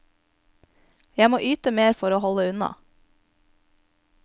Jeg må yte mer for å holde unna.